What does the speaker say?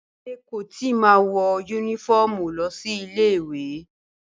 Bímpé kò ì tíì ma wọ yúnífọ́ọ̀mù lọ sílé ìwé